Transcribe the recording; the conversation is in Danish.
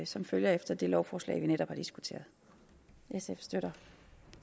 som følge af det lovforslag som vi netop har diskuteret sf støtter